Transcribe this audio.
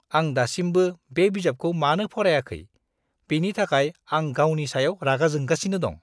आं दासिमबो बे बिजाबखौ मानो फरायाखै, बेनि थाखाय आं गावनि सायाव रागा जोंगासिनो दं!